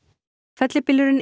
fellibylurinn